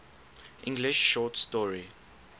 english short story